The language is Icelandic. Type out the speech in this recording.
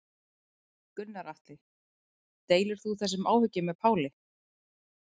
Gunnar Atli: Deilir þú þessum áhyggjum með Páli?